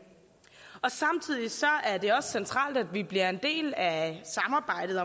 samtidig er det også centralt at vi bliver en del af samarbejdet